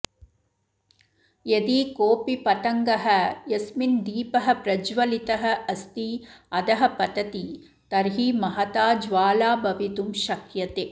यदि कोऽपि पतङ्गः यस्मिन् दीपः प्रज्वलितः अस्ति अधः पतति तर्हि महता ज्वाला भवितुं शक्यते